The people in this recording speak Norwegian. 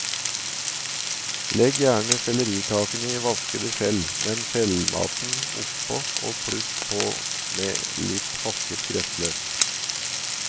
Legg gjerne sellerikakene i vaskede skjell, med skjellmaten oppå og pluss på med litt hakket gressløk.